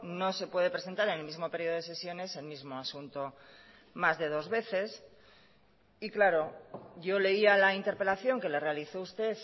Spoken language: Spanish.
no se puede presentar en el mismo periodo de sesiones el mismo asunto más de dos veces y claro yo leía la interpelación que le realizó usted